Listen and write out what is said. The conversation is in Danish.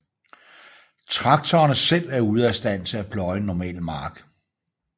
Traktorerne selv er ude af stand til at pløje en normal mark